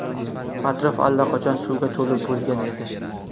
Atrof allaqachon suvga to‘lib bo‘lgan edi.